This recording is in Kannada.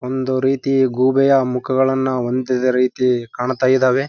ಒಂದು ರೀತಿ ಗೂಬೆಯ ಮುಖಗಳನ್ನ ಹೊಂದಿದ ರೀತಿ ಕಾಣ್ತಾ ಇದಾವೆ .